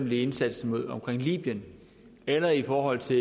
med indsatsen vedrørende libyen eller i forhold til